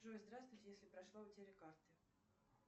джой здравствуте если прошла утеря карты